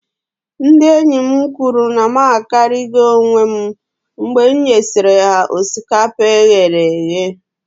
Ndị enyi m kwuru na m akarigo onwem mgbe m nyesịrị ha osikapa e ghere eghe